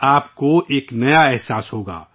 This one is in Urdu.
آپ کو ایک نیا ہی تجربہ ہوگا